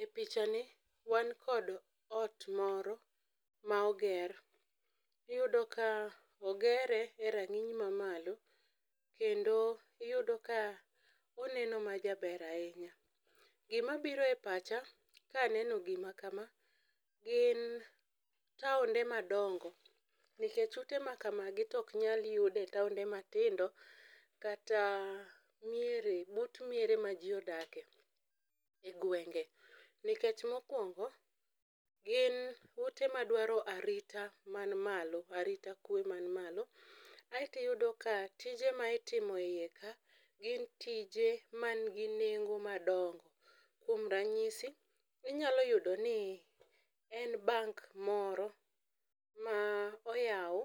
E picha ni wan kod ot moro ma oger. Iyudo ka ogere e rang'iny ma malo, kendo iyudo ka oneno ma jaber ahinya. Gima biro e pacha kaneno gima kama gin taonde madongo nikech ute ma kamagi tok nyal yude e taonde matindo. Kata miere but miere ma ji odake e gwenge. Nikech mokwongo gin ute madwaro arita man malo, arita kwe man malo. Aeti yudo ka tije ma itimo e iye ka gin tije man gi nengo ma dongo, kuom ranyisi inyalo yudo ni en bank moro ma oyaw